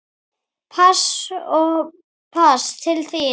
Pass og pass til þín.